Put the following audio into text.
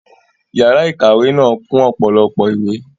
Yàrá ìkàwé náà kún ọ̀pọ̀lọpọ̀ ìwé